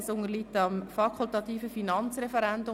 Das Geschäft unterliegt dem fakultativen Finanzreferendum.